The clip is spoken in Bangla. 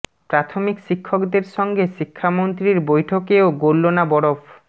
প্রাথমিক শিক্ষকদের সঙ্গে শিক্ষা মন্ত্রীর বৈঠকেও গলল না বরফ